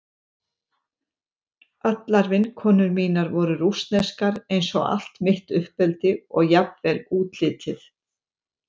Allar vinkonur mínar voru rússneskar eins og allt mitt uppeldi og jafnvel útlitið.